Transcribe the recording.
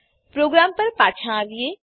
programme પર પાછા આવીએ